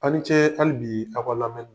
A ni ce hali bi a ka lamɛni na.